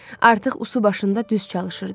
Artıq usu başında düz çalışırdı.